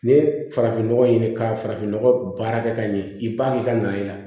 N'i ye farafinnɔgɔ ɲini ka farafinnɔgɔ baara kɛ ka ɲɛ i b'a ye i ka na ye